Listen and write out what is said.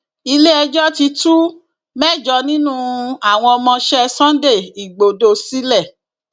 iléẹjọ ti tú mẹjọ nínú àwọn ọmọọṣẹ sunday igbodò sílẹ